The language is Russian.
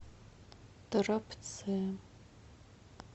торопце